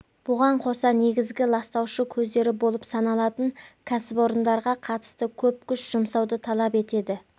бұған қоса негізгі ластаушы көздер болып саналатын кәсіпорындарға қатысты көп күш жұмсауды талап етеді